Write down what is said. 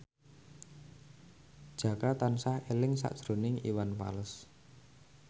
Jaka tansah eling sakjroning Iwan Fals